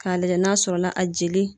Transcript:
K'a lajɛ n'a sɔrɔ la a jeli